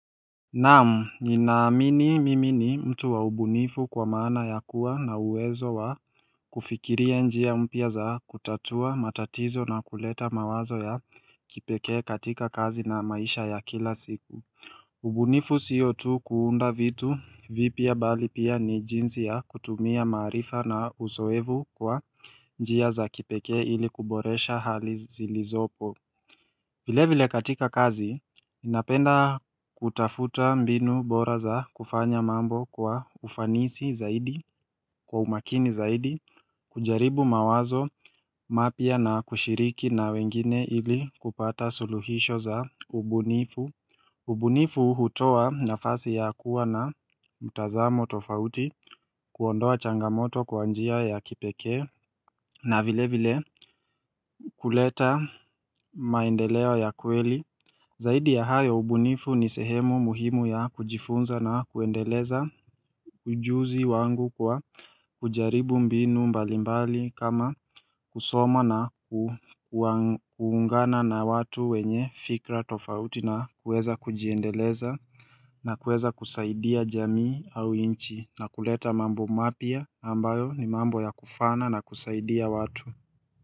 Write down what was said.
Naamu ninaamini mimini mtu waubunifu kwa maana ya kuwa na uwezo wa kufikiria njia mpia za kutatua matatizo na kuleta mawazo ya kipeke katika kazi na maisha ya kila siku ubunifu siyo tu kuunda vitu vipi ya bali pia ni jinzi ya kutumia maarifa na uzoevu kwa njia za kipeke ili kuboresha hali zilizopo vile vile katika kazi, inapenda kutafuta mbinu bora za kufanya mambo kwa ufanisi zaidi, kwa umakini zaidi, kujaribu mawazo mapia na kushiriki na wengine ili kupata suluhisho za ubunifu ubunifu hutowa nafasi ya kuwa na mutazamo tofauti kuondoa changamoto kwa njia ya kipeke na vile vile kuleta maendeleo ya kweli Zaidi ya hayo ubunifu ni sehemu muhimu ya kujifunza na kuendeleza ujuzi wangu kwa kujaribu mbinu mbalimbali kama kusoma na kuungana na watu wenye fikra tofauti na kueza kujendeleza na kueza kusaidia jamii au nchi na kuleta mambo mapya ambayo ni mambo ya kufana na kusaidia watu.